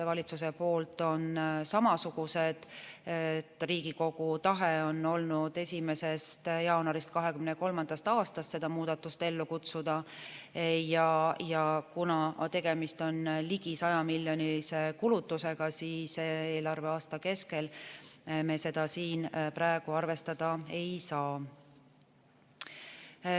Valitsuse põhjendused on samasugused: Riigikogu tahe on olnud 1. jaanuarist 2023. aastast seda muudatust ellu kutsuda ja kuna tegemist on ligi 100-miljonilise kulutusega, siis eelarveaasta keskel me seda siin praegu arvestada ei saa.